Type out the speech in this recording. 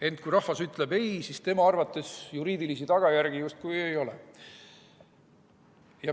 Ent kui rahvas ütleb ei, siis tema arvates juriidilisi tagajärgi justkui ei ole.